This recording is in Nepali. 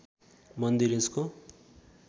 मन्दिर यसको